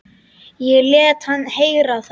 Og lét hann heyra það.